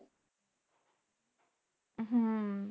হম